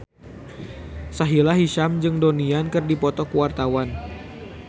Sahila Hisyam jeung Donnie Yan keur dipoto ku wartawan